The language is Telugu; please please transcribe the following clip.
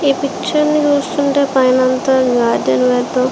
ఈ పిక్చర్ ని చూస్తుంటే పైనంత ఒక గార్డెన్ లాగా.